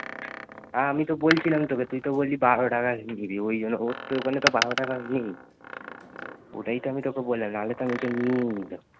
হাঁ আমি তো বলছিলাম তোকে তুই তো বলছিলে বারো টাকা ওঈ জন্য, ওখানে তো বারো তা নেই